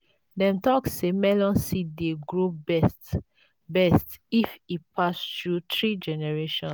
dem talk say melon seeds dey grow best best if e pass through three generation